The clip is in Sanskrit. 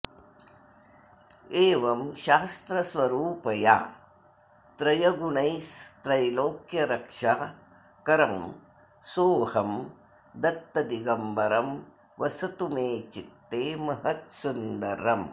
एवं शास्त्रस्वरूपया त्रयगुणैस्त्रैलोक्यरक्षाकरं सोऽहं दत्तदिगम्बरं वसतु मे चित्ते महत्सुन्दरम्